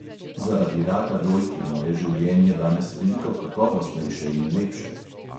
Zaradi raka dojk je moje življenje danes veliko kakovostnejše in lepše.